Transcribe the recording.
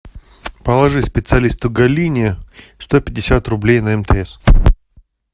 положи специалисту галине сто пятьдесят рублей на мтс